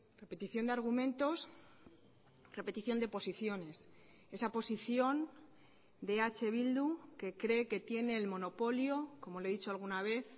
repetición de argumentos repetición de posiciones esa posición de eh bildu que cree que tiene el monopolio como le he dicho alguna vez